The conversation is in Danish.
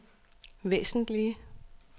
væsentlige